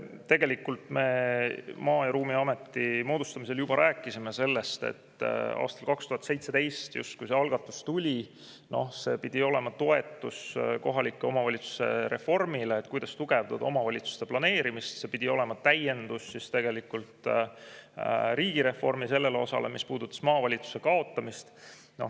Tegelikult me Maa- ja Ruumiameti moodustamisel juba rääkisime sellest, et aastal 2017, kui see algatus tuli, pidi see olema toetus kohalike omavalitsuste reformile, et tugevdada omavalitsuste planeerimist, ja oli mõeldud täiendusena riigireformi sellele osale, mis puudutas maavalitsuste kaotamist.